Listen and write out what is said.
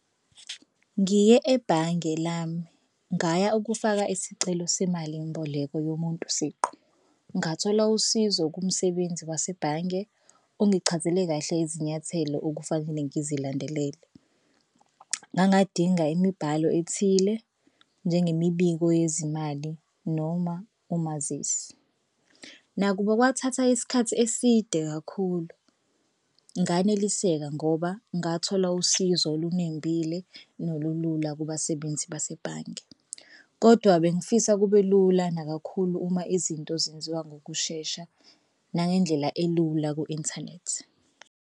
Ngiye ebhange lami ngaya ukufaka isicelo semalimboleko yomuntu siqu. Ngathola usizo kumsebenzi wasebhange ongichazele kahle izinyathelo okufanele ngizilandelele. Ngangadinga imibhalo ethile njengemibiko yezimali noma umazisi. Nakuba kwathatha isikhathi eside kakhulu nganeliseka ngoba ngathola usizo olunembile nolulula kubasebenzi basebhange kodwa bengifisa kube lula nakakhulu uma izinto zenziwa ngokushesha nangendlela elula ku-inthanethi.